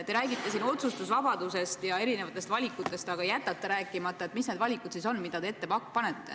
Te räägite siin otsustusvabadusest ja erinevatest valikutest, aga jätate rääkimata, mis need valikud on, mida te ette panete.